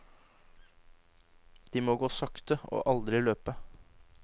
De må gå sakte og aldri løpe.